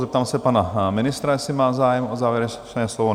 Zeptám se pana ministra, jestli má zájem o závěrečné slovo?